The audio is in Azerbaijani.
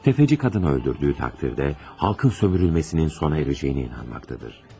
Təfəççi qadını öldürdüyü təqdirdə xalqın sömürülməsinin sona erəcəyinə inanmaqdadır.